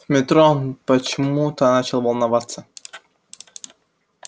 в метро он почему-то начал волноваться